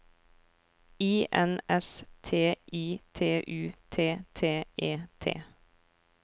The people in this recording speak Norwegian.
I N S T I T U T T E T